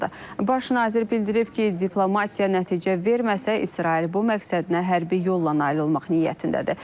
Baş nazir bildirib ki, diplomatiya nəticə verməsə, İsrail bu məqsədinə hərbi yolla nail olmaq niyyətindədir.